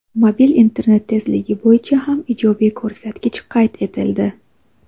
Mobil internet tezligi bo‘yicha ham ijobiy ko‘rsatkich qayd etildi.